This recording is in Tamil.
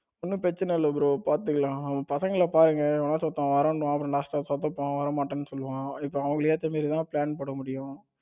ஒன்னும் பிரச்சனை இல்ல bro பாத்துக்கலாம். நம்ம பசங்கள பாருங்க எவனாச்சும் ஒருத்தன் வாரேன் சொல்லுவான் last ஒருத்தன் நா வரமாட்டேன்னு சொல்லுவான். இப்ப அவங்களுக்கு ஏத்த மாதிரி தான் plan போட முடியும்.